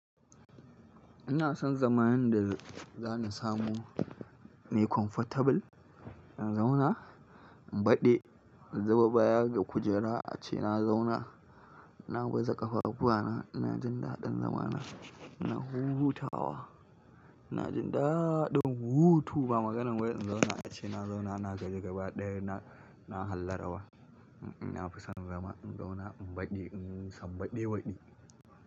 Ina son zamanin da za ni samu mai comfortable in zauna, in baɗi, in zuba baya ga kujera ace na zauna. Na baza ƙafafuwana, na jin daɗin zama na, ina hutawa. Ina jin daɗin hutu ba maganar wai in zauna ace, na zauna, na gaji gaba ɗaya na, na hallara wa. Na fi son zama in zauna in baɗi, inyi sam baɗi waɗi.